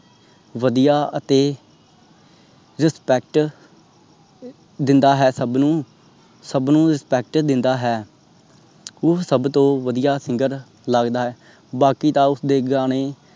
ਵਦੀਆ ਅਤੇ respect ਦਿੰਦਾ ਹੈ ਸਬਨੁ ਸਬਨੁ respect ਦਿੰਦਾ ਹੈ ਉਹ ਸਬ ਤੋਂ ਵਧੀਆ singer ਲੱਗਦਾ ਹੈ। ਬਾਕੀ ਤਾ ਉਸ ਦੇ ਗਾਣੇ